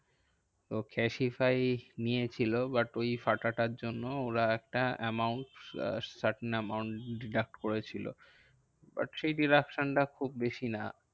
তো ক্যাসিফাই নিয়েছিল but ওই ফাটাটার জন্য ওরা একটা amount uh certain amount deduct করেছিল। but সেই deduction টা খুব বেশি না।